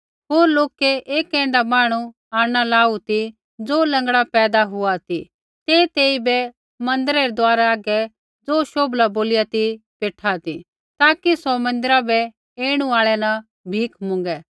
होर लोकै एक ऐण्ढा मांहणु आंणना लाऊ ती ज़ो लँगड़ा पैदा हुआ ती ते तेइबै मन्दिरै रै दुआरा हागै ज़ो शोभला बोलिया ती बेठा ती ताकि सौ मन्दिरा बै ऐणु आल़ै न भीख मुँगै